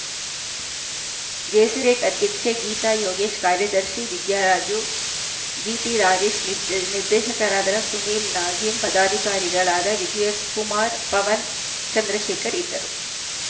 ಜೆಸಿರೇಟ್‌ ಅಧ್ಯಕ್ಷೆ ಗೀತಾ ಯೋಗೇಶ್‌ ಕಾರ್ಯದರ್ಶಿ ವಿದ್ಯಾರಾಜು ಜಿಟಿ ರಾಜೇಶ್‌ ನಿರ್ದೇ ನಿರ್ದೇಶಕರಾದ ಸುನೀಲ್‌ ನಾಜೀಂ ಪದಾಧಿಕಾರಿಗಳಾದ ವಿಜಯಕುಮಾರ್‌ ಪವನ ಚಂದ್ರಶೇಖರ್‌ ಇದ್ದರು